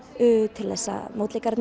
til þess að